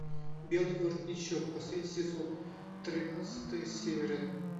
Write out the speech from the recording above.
белый воротничок последний сезон тринадцатая серия